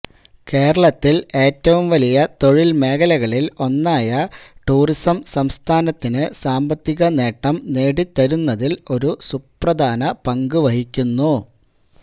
കേരളത്തിൽ ഏറ്റവും വലിയ തൊഴിൽ മേഖലകളിൽ ഒന്നായ ടൂറിസം സംസ്ഥാനത്തിന് സാമ്പത്തിക നേട്ടം നേടിത്തരുന്നതിൽ ഒരു പ്രധാന പങ്ക് വഹിക്കുന്നു